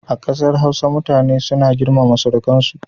A ƙasar Hausa, mutane suna girmama surukansu.